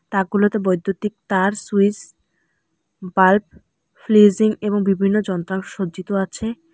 তাকগুলোতে বৈদ্যুতিক তার switch bulb ফ্লিজিং এবং বিভিন্ন যন্ত্রাংশ সজ্জিত আছে।